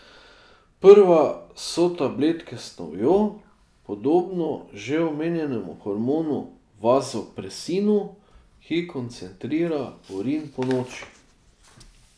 Prva so tabletke s snovjo, podobno že omenjenemu hormonu vazopresinu, ki koncentrira urin ponoči.